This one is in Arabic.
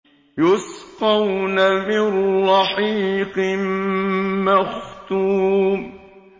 يُسْقَوْنَ مِن رَّحِيقٍ مَّخْتُومٍ